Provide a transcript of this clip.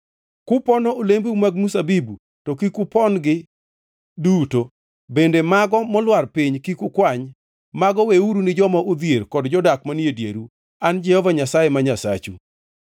Kupono olembeu mag mzabibu, to kik upon-gi duto, bende mago molwar piny kik ukwany. Mago weuru ni joma odhier kod jodak manie dieru. An e Jehova Nyasaye ma Nyasachu.